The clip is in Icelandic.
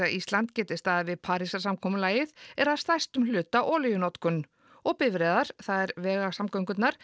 Ísland geti staðið við Parísarsamkomulagið er að stærstum hluta olíunotkun og bifreiðar það er vegasamgöngurnar